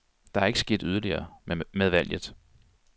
Der er ikke sket yderligere med valget.